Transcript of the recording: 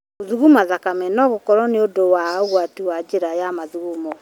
Gũthuguma thakame no gũkorwo nĩ ũndũ ya ũgwati wa njĩra ya mathugumo.